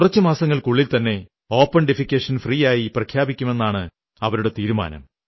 കുറച്ചു മാസങ്ങൾക്കുള്ളിൽത്തന്നെ open defecation free ആയി പ്രഖ്യാപിക്കുമെന്നാണ് അവരുടെയും തീരുമാനം